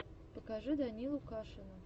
покажи данилу кашина